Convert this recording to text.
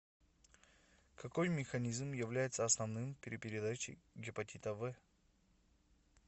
какой механизм является основным при передаче гепатита в